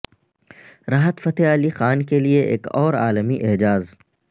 راحت فتح علی خان کیلئے ایک اور عالمی اعزاز